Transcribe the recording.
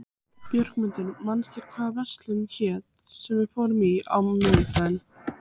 Björgmundur, manstu hvað verslunin hét sem við fórum í á miðvikudaginn?